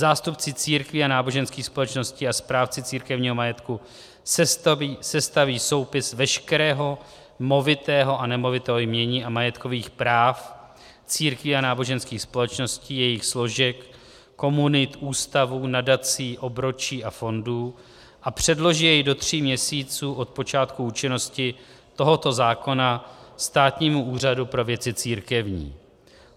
- Zástupci církví a náboženských společností a správci církevního majetku sestaví soupis veškerého movitého a nemovitého jmění a majetkových práv církví a náboženských společností, jejich složek, komunit, ústavů, nadací, obročí a fondů a předloží jej do tří měsíců od počátku účinnosti tohoto zákona Státnímu úřadu pro věci církevní.